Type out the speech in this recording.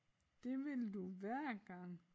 Det vil du hver gang